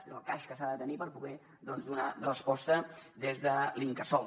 és el cas que s’ha de tenir per poder doncs donar resposta des de l’incasòl